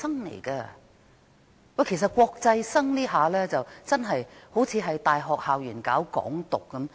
將大陸生視為國際生，似乎是在大學校園內搞港獨。